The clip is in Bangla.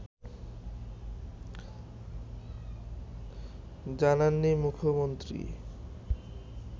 জানাননি মুখ্যমন্ত্রী